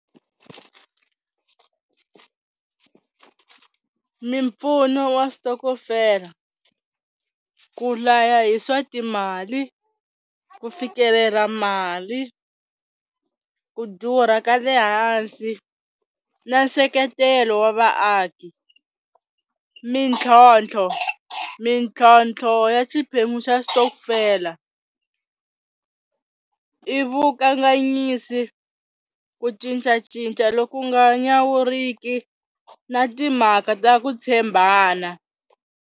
Mimpfuno wa switokofela, ku laya hi swa timali, ku fikelela mali, ku durha ka le hansi, na nseketelo wa vaaki, mintlhontlho mintlhontlho ya xiphemu xa xitokofela, i vukanganyisi ku cincacinca loku nga nyawuriki na timhaka ta ku tshembana.